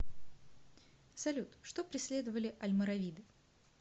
салют что преследовали альморавиды